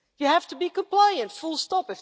You have to be compliant full stop.